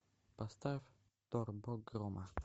поставь тор бог грома